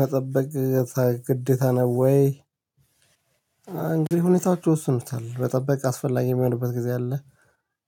መጠበቅ ግዴታ ነው ወይ? እንግዲህ ሁኔታዎቹ ይወስኑታል መጠበቅ አስፈላጊ የሚሆንበት ጊዜ አለ።